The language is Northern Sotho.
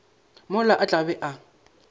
mola a tla be a